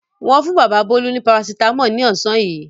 Wọ́n fún bàbá Bólú ní parasítámọ̀ ní ọ̀sán yìí.